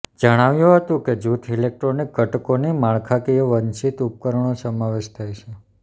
જણાવ્યું હતું કે જૂથ ઇલેક્ટ્રોનિક ઘટકોની માળખાકીય વંચિત ઉપકરણો સમાવેશ થાય છે